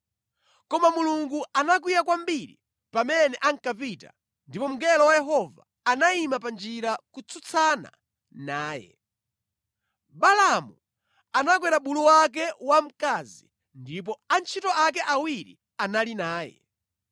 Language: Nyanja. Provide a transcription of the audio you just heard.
Koma Mulungu anakwiya kwambiri pamene ankapita ndipo mngelo wa Yehova anayima pa njira kutsutsana naye. Balaamu anakwera bulu wake wamkazi ndipo antchito ake awiri anali naye.